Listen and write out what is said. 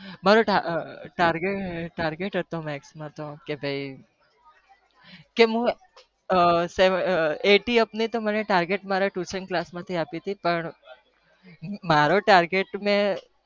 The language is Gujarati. મારો ઈચ્છા હતી ક હું મારો target